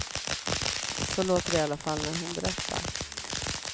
Så låter det i alla fall när hon berättar.